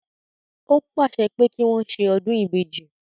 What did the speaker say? Ó pàṣẹ pé kí wọ́n ṣe ọdún ìbejì